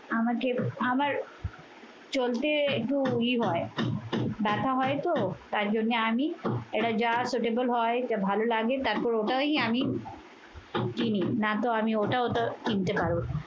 আমাকে আমার চলতে একটু ই হয় ব্যথা হয় তো তার জন্যে আমি এটা যা suitable হয় এটা ভালো লাগে তারপর ওটাই আমি কিনি। না তো আমি ওটা ওটা আমি কিনতে পারবো না।